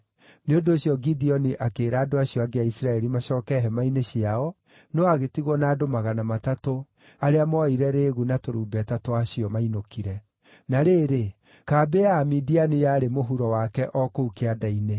Nĩ ũndũ ũcio Gideoni akĩĩra andũ acio angĩ a Isiraeli macooke hema-inĩ ciao, no agĩtigwo na andũ magana matatũ, arĩa mooire rĩĩgu na tũrumbeta twa acio mainũkire. Na rĩrĩ, kambĩ ya Amidiani yarĩ mũhuro wake o kũu kĩanda-inĩ.